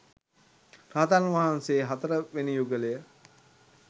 රහතන් වහන්සේ හතර වෙනි යුගලය.